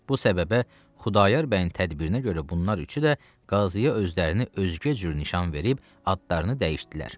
Bu səbəbə Xudayar bəyin tədbirinə görə bunlar üçü də qazıyə özlərini özgə cür nişan verib adlarını dəyişdilər.